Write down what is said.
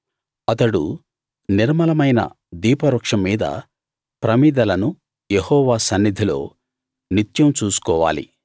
అతడు నిర్మలమైన దీపవృక్షం మీద ప్రమిదలను యెహోవా సన్నిధిలో నిత్యం చూసుకోవాలి